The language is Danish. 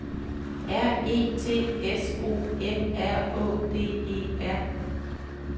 R E T S O M R Å D E R